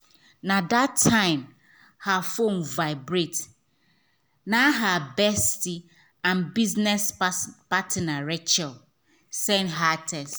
na that time her phone vibrate na her bestie and business partner rachel send her text.